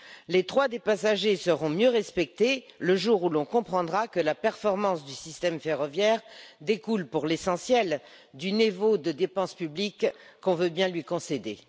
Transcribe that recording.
Les droits des passagers seront mieux respectés le jour où l'on comprendra que la performance du système ferroviaire découle pour l'essentiel du niveau de dépenses publiques qu'on veut bien lui concéder.